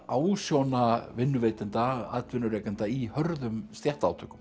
ásjóna vinnuveitenda atvinnurekenda í hörðum